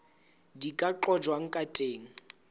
di ka qojwang ka teng